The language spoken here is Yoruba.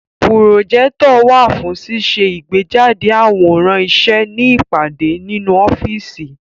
Pùròjẹ́tọ̀ wà fún ṣíṣe ìgbéjáde àwòrán iṣẹ́ ní ìpàdé nínú ọ́fíìsì.